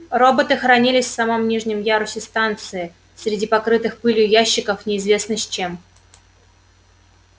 роботы хранились в самом нижнем ярусе станции среди покрытых пылью ящиков неизвестно с чем